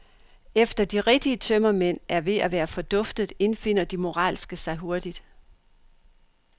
Efter de rigtige tømmermænd er ved at være forduftet, indfinder de moralske sig hurtigt.